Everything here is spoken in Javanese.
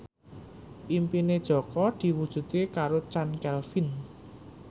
impine Jaka diwujudke karo Chand Kelvin